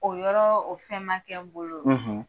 O yɔrɔ o fɛn man kɛ n bolo.